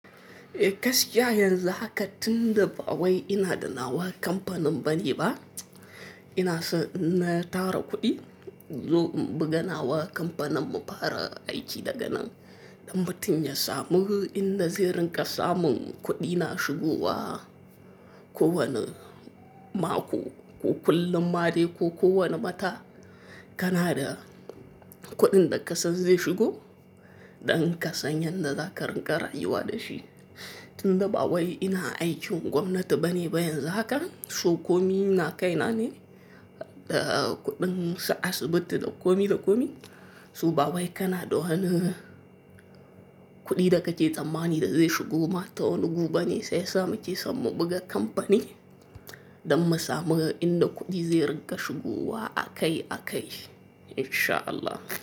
Eh gaskiya yanzu haka tunda ba wai ina da nawa kampanin bane ba, ina san in tara kuɗi in zo in buga nawa kampanin mu fara aiki daga nan. Ɗan mutun ya samu inda zai rin ƙa samun kuɗi na shigowa. Ko wane mako ko kullum maɗai ko kowane ma dai, ko kowa ne wata kana da kuɗin da ka sa zai shigo, ɗan ka san yadda za ka rinƙa rayuwa da shi. Tunda ba wai ina aikin gwamnati bane ba yanzu haka, so komi na kai na ne, eh kuɗin su asibiti da komi da komi. Su ba wai Kanada hane kuɗi da ka je tsammani da zai shigo ma ta wani gu ɓa ne sai sa mu ke san mu buga kampani. Ɗan mu samu inda kuɗi zai rinƙa shigowa a kai a kai in sha Allah.